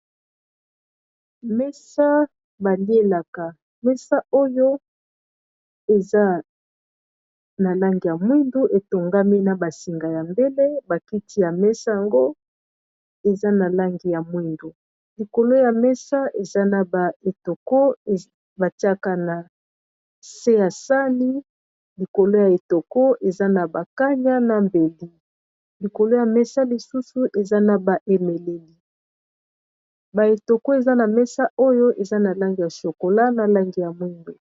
Mesa balielaka mesa oyo eza na langi ya mwindu etongami na basinga ya mbele bakiti ya mesa yango eza na langi ya mwindu likolo ya mesa eza na ba etoko batiaka na se ya sani likolo ya etoko eza na bakanya na beli likolo ya mesa lisusu eza na baemeleli baetoko eza na mesa oyo eza na langi ya shokola na langi ya mwindu.